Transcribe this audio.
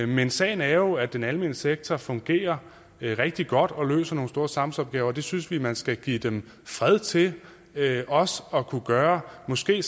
men sagen er jo at den almene sektor fungerer rigtig godt og løser nogle store samfundsopgaver det synes vi man også skal give dem fred til at at kunne gøre måske